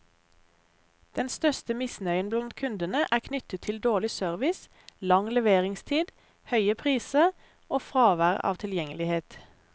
Den største misnøyen blant kundene er knyttet til dårlig service, lang leveringstid, høye priser og fravær av tilgjengelighet.